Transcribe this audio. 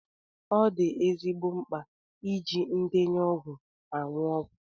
Ọ dị ezigbo mkpa iji ndenye ọgwụ aṅụ ọgwụ.